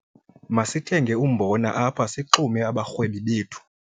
Masithenge umbona apha sixume abarhwebi bethu.